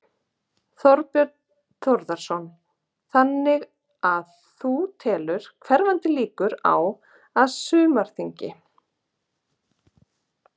Þorbjörn Þórðarson: Þannig að þú telur hverfandi líkur á, á sumarþingi?